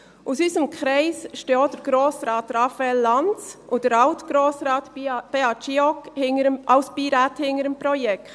Aus unserem Kreis stehen auch Grossrat Raphael Lanz und Alt-Grossrat Beat Giauque als Beiräte hinter dem Projekt.